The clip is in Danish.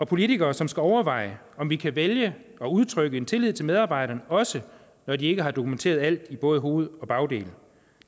politikere som skal overveje om vi kan vælge at udtrykke tillid til medarbejderne også når de ikke har dokumenteret alt i både hoved og bagdel